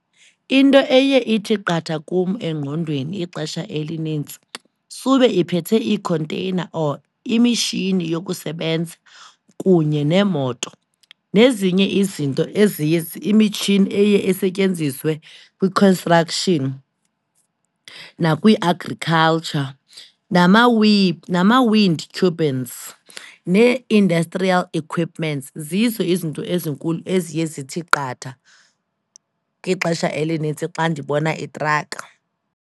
Into eye ithi qatha kum engqondweni ixesha elinintsi, sube iphethe iikhonteyina or imitshini yokusebenza kunye neemoto, nezinye izinto eziye imitshini eye isetyenziswe kwi-construction nakwi-agriculture, nama-wind turbines nee-industrial equipments. Zizo izinto ezinkulu eziye zithi qatha ixesha elinintsi xa ndibona i-truck.